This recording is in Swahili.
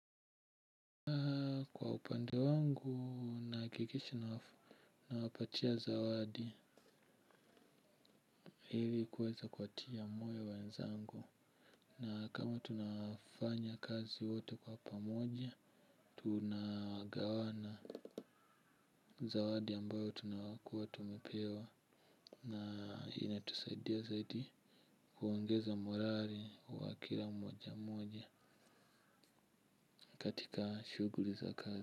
Kwa upande wangu nahakikisha na wafu nawapatia zawadi ili kuweza kuwatia moyo wenzangu na kama tunafanya kazi wote kwa pamoja tunagawana zawadi ambayo tunakuwa tumepewa na inatusaidia zaidi kuongeza morali wa kila mmoja moja katika shughuli za kazi.